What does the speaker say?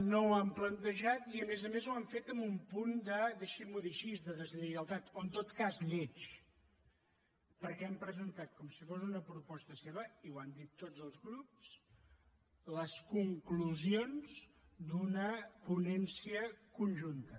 no ho han plantejat i a més a més ho han fet amb un punt deixi’m ho dir així de deslleialtat o en tot cas lleig perquè han presentat com si fos una proposta seva i ho han dit tots els grups les conclusions d’una ponència conjunta